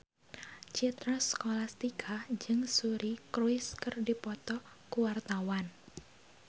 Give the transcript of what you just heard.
Citra Scholastika jeung Suri Cruise keur dipoto ku wartawan